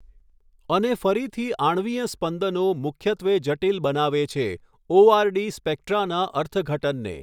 અને ફરીથી આણ્વીય સ્પંદનો મુખ્યત્વે જટિલ બનાવે છે ઓઆરડી સ્પેક્ટ્રાના અર્થઘટનને.